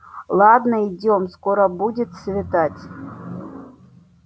ладно идём скоро будет светать